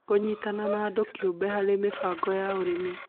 Kũnyitanĩra na andũ kĩũmbe harĩ mĩbango ya ũrĩmi